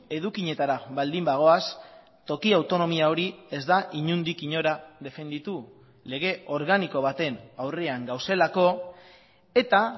edukietara baldin bagoaz toki autonomia hori ez da inondik inora defenditu lege organiko baten aurrean gaudelako eta